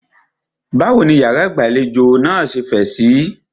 Báwo ní ìyàrá ìgbàlejò náà ṣe fẹ̀ síí?